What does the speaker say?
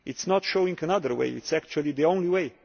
statement. It is not showing another way, it is actually the